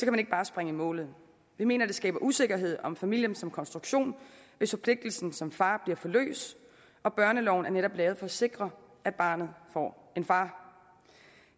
man ikke bare springe i målet vi mener det skaber usikkerhed om familien som konstruktion hvis forpligtelsen som far bliver for løs og børneloven er netop lavet for at sikre at barnet får en far